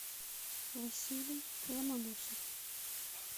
василий ломоносов